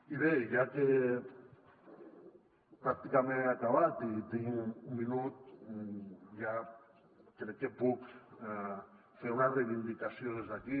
i bé ja que pràcticament he acabat i tinc un minut crec que puc fer una reivindicació des d’aquí